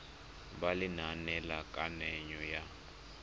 ya lenane la kananyo ya